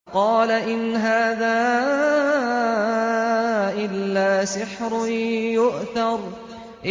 فَقَالَ إِنْ هَٰذَا إِلَّا سِحْرٌ يُؤْثَرُ